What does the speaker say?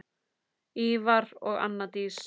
Ívar og Anna Dís.